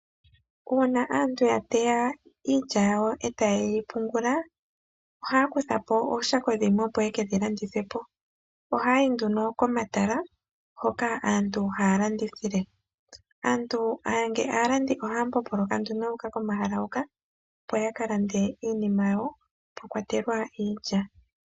Uuna aantu ya teya iilya yawo e taye yi pungula, ohaa kutha po ooshako dhimwe opo ye ke dhi landithe po. Ohaya yi nduno komatala hoka aantu haya landithile. Aalandi ohaya mbomboloka nduno yu uka komahala huka, ya ka lande iinima yawo mwa kwatelwa iilya.